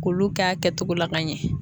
K'olu k'a kɛtogo la ka ɲɛ.